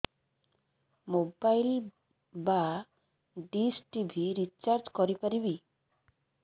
mobile ବା dish TV recharge କରି ପାରିବି